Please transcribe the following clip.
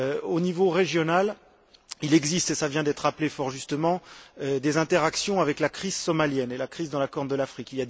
Au niveau régional, il existe et cela vient d'être rappelé fort justement des interactions avec la crise somalienne et la crise dans la Corne de l'Afrique.